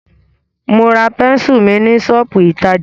Mo ra pẹ́nsù mi ní ṣọ́pù ìtajà.